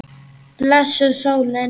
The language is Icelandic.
Blessuð sólin.